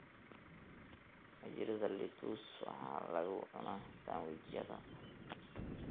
Majirida lettuce waxaa lagu cunaa sandwich-yada.